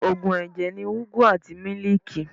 Òògùn ẹ̀jẹ̀ ni ugwu àti mílíìkì.